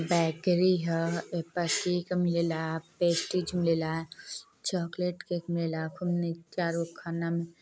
bakery ह एपर cake मिलेला पेस्ट्री झुलेला चोकलेट केक मिलेला खूब निक चार गो --